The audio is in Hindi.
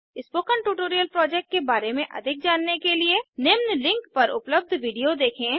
स्पोकन ट्यूटोरियल प्रोजेक्ट के बारे में अधिक जानने के लिए निम्न लिंक पर पर उपलब्ध वीडियो देखें